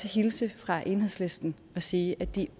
hilse fra enhedslisten og sige at de